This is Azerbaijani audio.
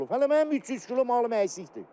Hələ mənim 300 kilo malım əksikdir.